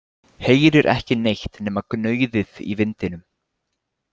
Heyrir ekki neitt nema gnauðið í vindinum.